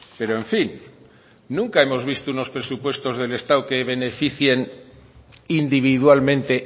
pero en fin nunca hemos visto unos presupuestos del estado que beneficien individualmente